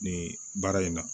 Nin baara in na